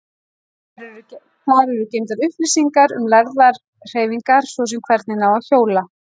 Þar eru geymdar upplýsingar um lærðar hreyfingar, svo sem hvernig á að hjóla.